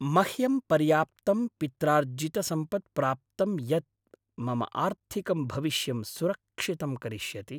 मह्यं पर्याप्तं पित्रार्जितसम्पत् प्राप्तम् यत् मम आर्थिकं भविष्यं सुरक्षितं करिष्यति।